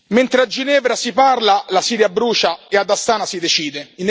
Mentre a Ginevra si parla, la Siria brucia e ad Astana si decide.